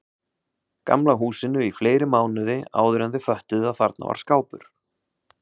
Gamla húsinu í fleiri mánuði áðuren þau föttuðu að þarna var skápur.